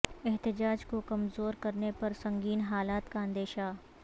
احتجاج کو کمزور کرنے پر سنگین حالات کا اندیشہ